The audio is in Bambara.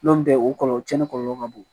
N'o tɛ o kɔlɔlɔ tiɲɛnen kɔlɔlɔ ka bon